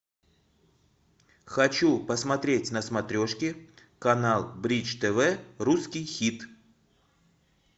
хочу посмотреть на смотрешке канал бридж тв русский хит